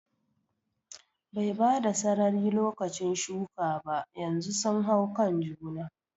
Bai bada sarari lokacin shuka ba, yanzu sun hau kan juna